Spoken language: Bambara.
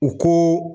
U ko